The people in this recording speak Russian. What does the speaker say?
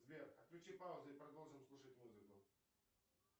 сбер отключи паузу и продолжим слушать музыку